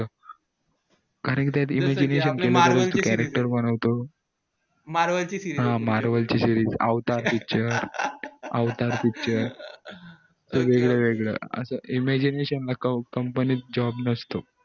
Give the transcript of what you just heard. marvel चे series अवतार picture अवतार picture वेगळं वेगळं असं imagination ला company job नसतो